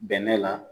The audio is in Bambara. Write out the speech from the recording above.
Bɛnɛ la